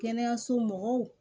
Kɛnɛyaso mɔgɔw